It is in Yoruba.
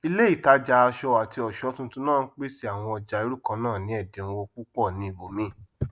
ilé ìtajà aṣọ àti ọsọ tuntun náà ń pèsè àwọn ọjà irú kannáà ní ẹdínwó púpọ ní ibòmíì